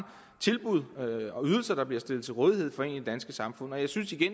tilbud og ydelser der bliver stillet til rådighed for en i det danske samfund jeg synes i